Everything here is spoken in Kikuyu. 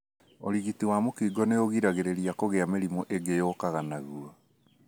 ũrigiti wa mũkingo nĩũgiragĩrĩria kũgia mĩrimũ ĩngĩ yũkaga naguo.